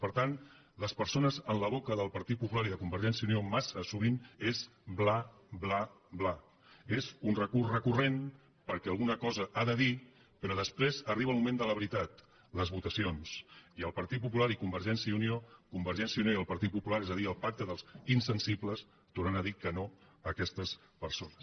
per tant les persones en boca del partit popular i de convergència i unió massa sovint són bla bla bla és un recurs recurrent perquè alguna cosa ha de dir però després arriba el moment de la veritat les votacions i el partit popular i convergència i unió convergència i unió i el partit popular és a dir el pacte dels insensibles tornarà a dir que no a aquestes persones